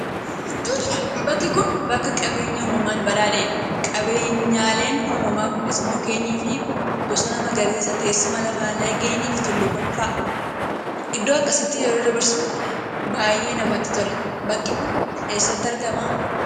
bakki kun bakka qabeenya uumamaan badhaadhee dha. Qabeenyaaleen uumamaa kunis: mukkeenii fi bosona magariisa, teessuma lafaa, laggeenii fi tulluuwwan fa'a. Iddoo akkasiitti yeroo dabarsuun baay'ee namatti tola. Bakki kun eessati argama?